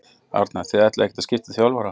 Arnar: Þið ætlið ekkert að skipta um þjálfara?